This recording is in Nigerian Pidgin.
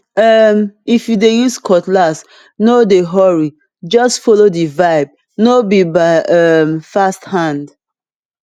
um if you dey use cutlass no dey hurryjust follow the vibe no be by um fast hand